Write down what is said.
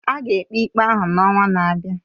A ga-ekpe ikpe ahụ n'ọnwa na-abịa.